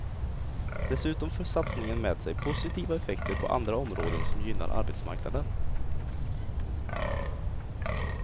Dessutom för satsningen med sig positiva effekter på andra områden som gynnar arbetsmarknaden.